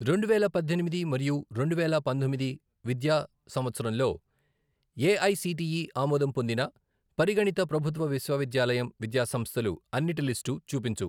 రెండువేల పద్దెనిమిది మరియు రెండు వేల పంతొమ్మిది విద్యా సంవత్సరంలో ఏఐసిటిఈ ఆమోదం పొందిన పరిగణిత ప్రభుత్వ విశ్వవిద్యాలయం విద్యాసంస్థలు అన్నిటి లిస్టు చూపించు.